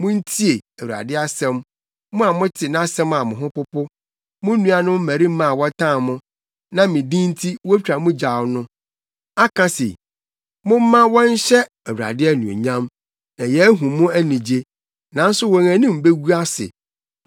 Muntie Awurade asɛm, mo a mote nʼasɛm a mo ho popo: “Mo nuanom mmarima a wɔtan mo, na me din nti wotwa mo gyaw no, aka se, ‘Momma wɔnhyɛ Awurade anuonyam, na yɛahu mo anigye!’ Nanso wɔn anim begu ase.